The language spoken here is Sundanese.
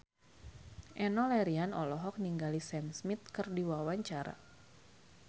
Enno Lerian olohok ningali Sam Smith keur diwawancara